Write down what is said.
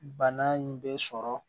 Bana in bɛ sɔrɔ